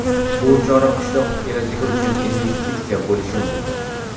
Bu chora qishloq kelajagi uchun investitsiya bo‘lishi mumkin.